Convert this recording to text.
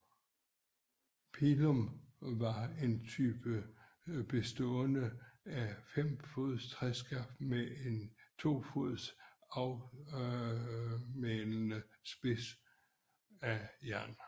Pilum var en type spyd bestående af et fem fods træskaft med en to fods afsmalnende spids af jern